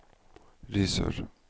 Risør